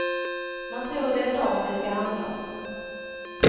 Man tror det är dem det ska handla om.